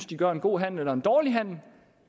de gør en god handel eller en dårlig handel